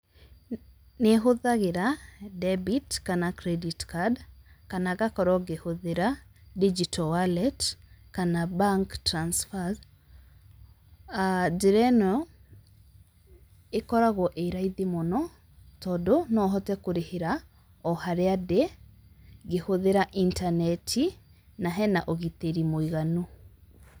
Nĩhũthagira debit kana credit card, kana ngakorwo ngihũthira digital wallet kana bank transfers, uh njĩra ĩno ĩkoragwo ĩ raithi mũno, tondũ nohote kũrĩhĩra o-harĩa ndĩ ngĩhũthĩra intaneti na hena ũgitĩri mũiganu.